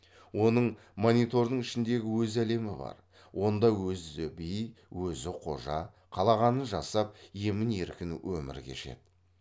оның монитордың ішіндегі өз әлемі бар онда өзі би өзі қожа қалағанын жасап емін еркін өмір кешеді